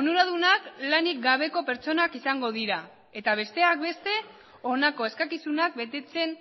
onuradunak lanik gabeko pertsonak izango dira eta besteak beste honako eskakizunak betetzen